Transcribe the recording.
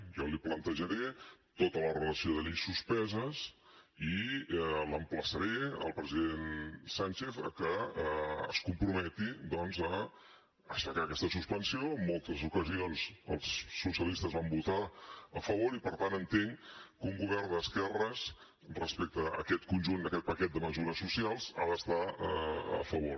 jo li plantejaré tota la relació de lleis suspeses i l’emplaçaré al president sánchez a que es comprometi doncs a aixecar aquesta suspensió en moltes ocasions els socialistes van votar hi a favor i per tant entenc que un govern d’esquerres respecte a aquest conjunt a aquest paquet de mesures socials hi ha d’estar a favor